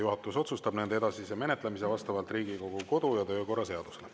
Juhatus otsustab nende edasise menetlemise vastavalt Riigikogu kodu‑ ja töökorra seadusele.